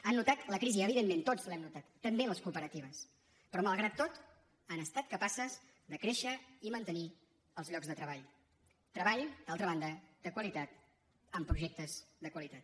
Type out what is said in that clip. han notat la crisi evidentment tots l’hem notat també les cooperatives però malgrat tot han estat capaces de créixer i mantenir els llocs de treball treball d’altra banda de qualitat amb projectes de qualitat